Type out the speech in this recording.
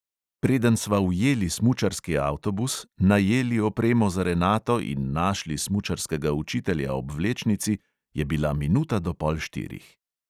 Preden sva ujeli smučarski avtobus, najeli opremo za renato in našli smučarskega učitelja ob vlečnici, je bila minuta do pol štirih.